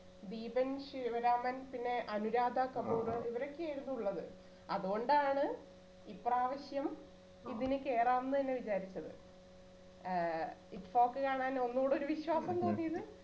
ദീപൻ ശിവരാമൻ പിന്നെ അനുരാധ കപൂർ ഇവരൊക്കെയായിരുന്നു ഉള്ളത് അത്കൊണ്ടാണ് ഇപ്രാവശ്യം ഇതിനുകേറാന്നു തന്നെ വിചാരിച്ചത് ഏർ ഇപ്പൊക്കെ കാണാൻ ഒന്നൂടെ ഒരു വിശ്വാസം തോന്നിയത്